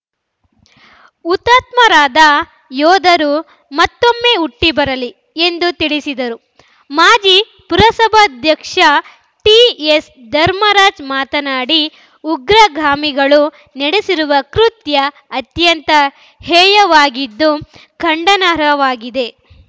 ಹುತಾತ್ಮರಾದ ಯೋಧರು ಮತ್ತೊಮ್ಮೆ ಹುಟ್ಟಿಬರಲಿ ಎಂದು ತಿಳಿಸಿದರು ಮಾಜಿ ಪುರಸಭಾಧ್ಯಕ್ಷ ಟಿಎಸ್‌ ಧರ್ಮರಾಜ್‌ ಮಾತನಾಡಿ ಉಗ್ರಗಾಮಿಗಳು ನಡೆಸಿರುವ ಕೃತ್ಯ ಅತ್ಯಂತ ಹೇಯವಾಗಿದ್ದು ಖಂಡನಾರ್ಹವಾಗಿದೆ